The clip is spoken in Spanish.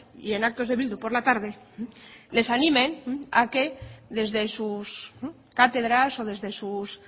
y en actos de bildu por la tarde les animen a que desde sus cátedras o desde sus